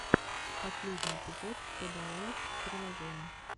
последний эпизод пэдэалайф приложений